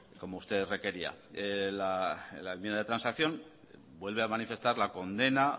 como usted requería la enmienda de transacción vuelve a manifestar la condena